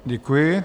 Děkuji.